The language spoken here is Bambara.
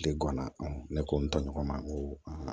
De guwan ne ko n tɔɲɔgɔn ma ko